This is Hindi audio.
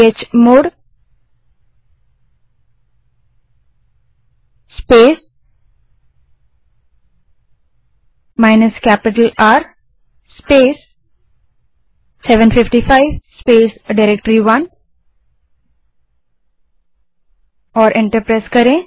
chmod space minus capital R space 755 space directory one enter दबायें